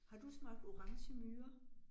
Har du smagt orangemyrer?